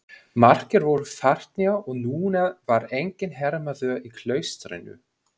Margir voru farnir og núna var enginn hermaður í klaustrinu.